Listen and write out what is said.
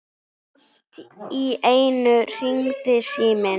Allt í einu hringdi síminn.